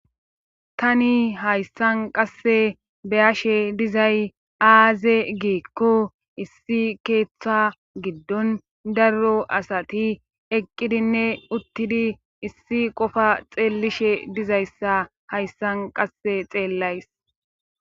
Tani hayssan qasse beyashe dizay aaze giekko issi keeththa giddon darro asati eqqidinne uttidi issi qofa xeellishe dizayssa hayssan qasse xeellays.